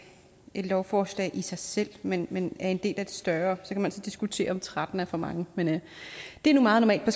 et lovforslag i sig selv men men er en del af et større så kan man diskutere om tretten er for mange men det er nu meget normalt på